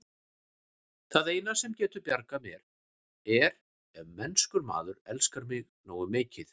Það eina, sem getur bjargað mér, er ef mennskur maður elskar mig nógu mikið.